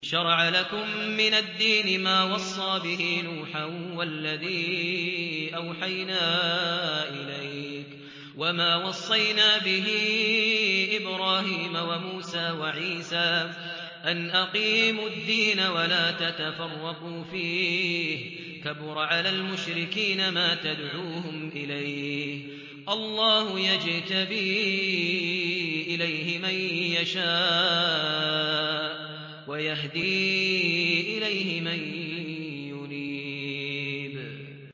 ۞ شَرَعَ لَكُم مِّنَ الدِّينِ مَا وَصَّىٰ بِهِ نُوحًا وَالَّذِي أَوْحَيْنَا إِلَيْكَ وَمَا وَصَّيْنَا بِهِ إِبْرَاهِيمَ وَمُوسَىٰ وَعِيسَىٰ ۖ أَنْ أَقِيمُوا الدِّينَ وَلَا تَتَفَرَّقُوا فِيهِ ۚ كَبُرَ عَلَى الْمُشْرِكِينَ مَا تَدْعُوهُمْ إِلَيْهِ ۚ اللَّهُ يَجْتَبِي إِلَيْهِ مَن يَشَاءُ وَيَهْدِي إِلَيْهِ مَن يُنِيبُ